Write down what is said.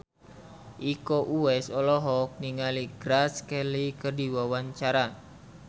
Iko Uwais olohok ningali Grace Kelly keur diwawancara